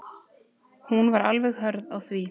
Hún var alveg hörð á því.